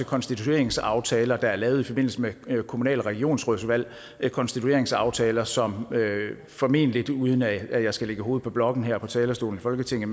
konstitueringsaftaler der er lavet i forbindelse med kommunal og regionsrådsvalg konstitueringsaftaler som formentlig er uden at jeg skal lægge hovedet på blokken her på talerstolen i folketinget